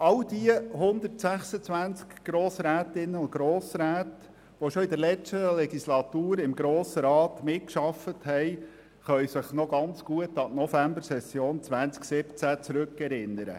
All jene 126 Grossrätinnen und Grossräte, die schon während der letzten Legislaturperiode im Grossen Rat mitgearbeitet haben, können sich noch sehr gut an die Novembersession 2017 erinnern.